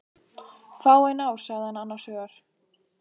Fáein ár sagði hann annars hugar.